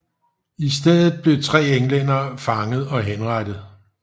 I stedet blev tre englændere fanget og henrettet